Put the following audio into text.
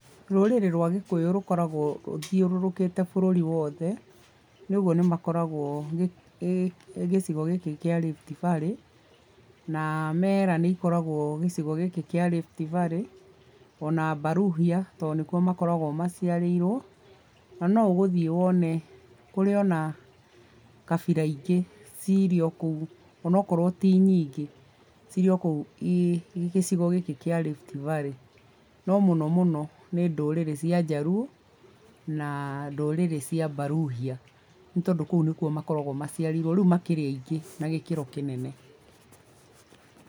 Rũrĩrĩ rwa gĩkũyũ rũkoragwo rũthiũrũrũkĩte bũrũri wothe nĩũgwo nĩmakoragwo gĩcigo gĩkĩ kĩa Rift Valley na mera nĩikoragwo gĩcigo gĩkĩ kĩa Rift Valley o na baruhia tondũ nĩ kuo makoragwo maciarĩirwo, na no ũgũthiĩ wone kũrĩ o na kabira ingĩ cirĩ o kũu o na okorwo ti nyingĩ cirĩ okũu gĩcigo gĩkĩ kĩa Rift Valley. No mũno mũno ni ndũrĩrĩ cia njaruo na ndũrĩrĩ cia baruhia nĩ tondũ kũu nĩkuo makoragwo maciarĩirwo, rĩu makĩrĩ aingĩ na gĩkĩro kĩnene.